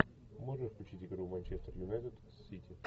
можешь включить игру манчестер юнайтед с сити